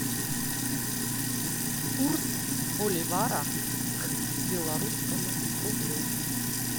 курс боливара к белорусскому рублю